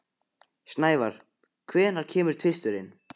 Snævar, hvenær kemur tvisturinn?